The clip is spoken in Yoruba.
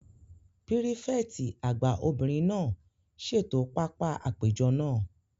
Pírífẹ̀tì àgbà obìnrin náà ṣètò pápá àpéjọ náà